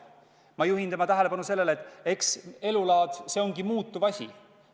Ma juhin tema tähelepanu sellele, et elulaad ongi muutuv asi.